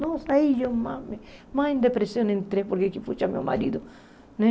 Nossa, aí eu mais mais em depressão entrei, porque, puxa, meu marido, né?